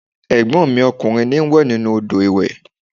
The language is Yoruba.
Ẹ̀gbọ́n mi ọkùnrin n wẹ̀ nínú odò ìwẹ̀